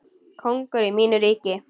Kóngur í mínu ríki.